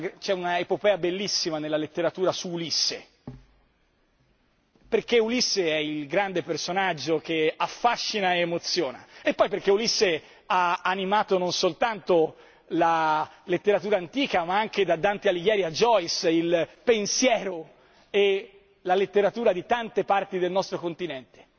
C'è un'epopea bellissima nella letteratura su Ulisse, perché Ulisse è il grande personaggio che affascina e emoziona, e poi perché Ulisse ha animato non soltanto la letteratura antica ma anche, da Dante Alighieri a Joyce, il pensiero e la letteratura di tante parti del nostro continente.